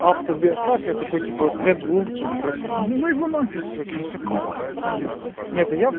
автобиография такой типа тэ двумки короче ну его нахер короче нахрена это все вспоминать нет я вс